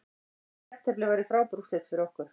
Jafntefli væri frábær úrslit fyrir okkur